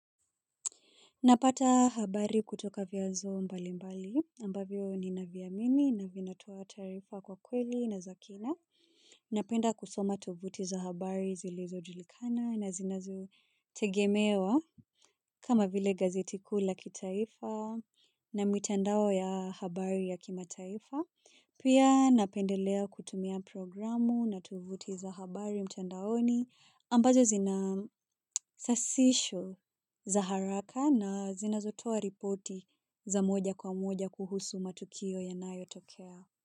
Napata habari kutoka vya nzo mbali mbali ambavyo ni naviamini na vinatoa taarifa kwa kweli na zakina. Napenda kusoma tovuti za habari zili zojulikana na zinazo tegemewa kama vile gazetikuula kitaifa na mitandao ya habari ya kimataifa. Pia napendelea kutumia programu na tovuti za habari mtandaoni ambazo zina sasisho za haraka na zina zotoa ripoti za moja kwa moja kuhusu matukio ya nayo tokea.